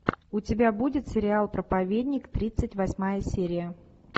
у тебя будет сериал проповедник тридцать восьмая серия